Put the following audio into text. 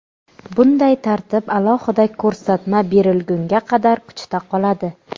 Bunday tartib alohida ko‘rsatma berilgunga qadar kuchda qoladi.